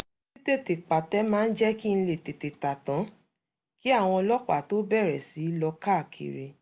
títètè pàtẹ máa ń jẹ́ kí n lè tètè tà tán kí àwọn ọlọ́pàá tó bẹ̀rẹ̀ sí í lọ káàkiri